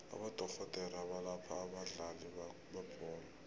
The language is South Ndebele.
abodorhodere abalapha abadlali bebholo